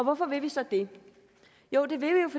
hvorfor vil vi så det jo det vil